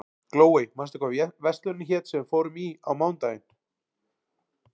Glóey, manstu hvað verslunin hét sem við fórum í á mánudaginn?